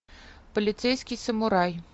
полицейский самурай